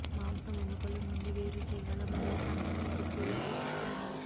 మాంసం ఎముకలు నుండి వేరు చేయగల మరియు సన్నని కుట్లు లోకి కట్ ఉంది